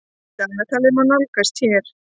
Dagatalið má nálgast hér.